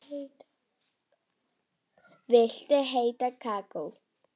Viltu heitt kakó?